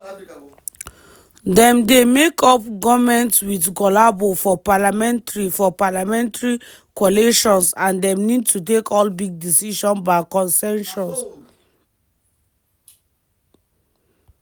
dem dey make up goments wit collabo for parliamentary for parliamentary coalitions and dem need to take all big decisions by consensus.